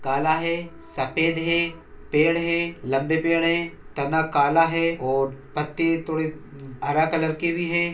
काला है सफेद है पेड़ है लम्बे पेड़ है तना काला है और पत्ते थोड़े हरा कलर के भी है।